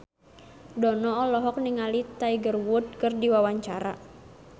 Dono olohok ningali Tiger Wood keur diwawancara